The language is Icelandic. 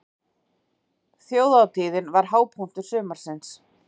Þjóðhátíðin var hápunktur sumarsins.